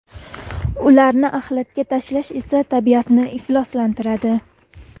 Ularni axlatga tashlash esa tabiatni ifloslantiradi.